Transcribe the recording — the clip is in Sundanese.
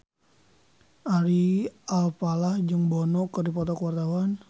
Ari Alfalah jeung Bono keur dipoto ku wartawan